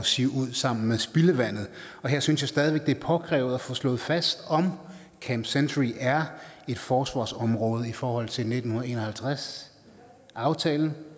sive ud sammen med spildevandet jeg synes stadig det er påkrævet at få slået fast om camp century er et forsvarsområde i forhold til nitten en og halvtreds aftalen